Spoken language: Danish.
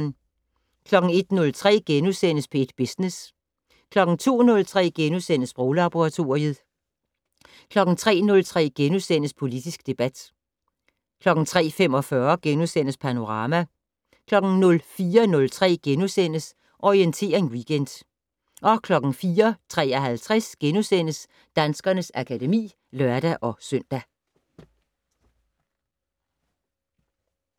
01:03: P1 Business * 02:03: Sproglaboratoriet * 03:03: Politisk debat * 03:45: Panorama * 04:03: Orientering Weekend * 04:53: Danskernes akademi *(lør-søn)